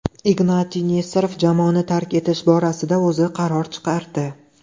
Ignatiy Nesterov jamoani tark etish borasida o‘zi qaror chiqardi.